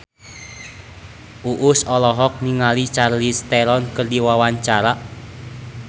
Uus olohok ningali Charlize Theron keur diwawancara